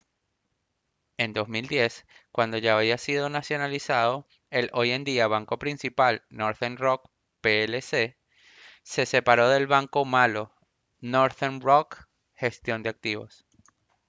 en 2010 cuando ya había sido nacionalizado el hoy en día banco principal northern rock plc se separó del «banco malo» northern rock gestión de activos